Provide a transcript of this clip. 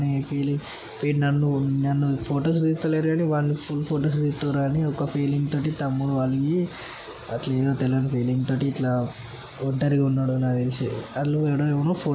వీడు- వీడు నన్ను నన్ను ఫొటోస్ తేత్తలేరు అని వాణ్ణి తేత్తల్లు అనే ఫీలింగ్ తోటి తమ్ముడు అలిగి ఎధొ తెల్వని ఫీలింగ్ తటి ఒంటరిగా ఉన్నాడు. నాక తెల్సి వాళ్ళు ఆడ ఎవరో--